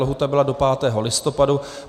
Lhůta byla do 5. listopadu.